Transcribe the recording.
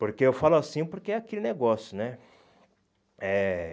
Porque eu falo assim porque é aquele negócio, né? Eh